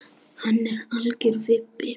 Hann er algjör vibbi.